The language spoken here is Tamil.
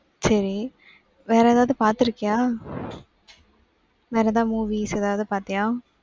சரி. வேற ஏதாவது பார்த்திருக்கியா? வேற ஏதாவது movies ஏதாவது பார்த்தியா?